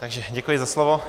Takže děkuji za slovo.